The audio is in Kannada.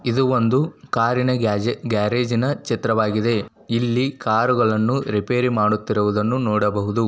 ಇದು ಒಂದು ಕಾರಿನ ಗ್ಯಾಜೆ ಗ್ಯಾರೇಜಿನ ಚಿತ್ರವಾಗಿದೆ. ಇಲ್ಲಿ ಕಾರುಗಳನ್ನು ರೇಪೆರಿ ಮಾಡುತ್ತಿರುವುದನ್ನು ನೋಡಬಹುದು.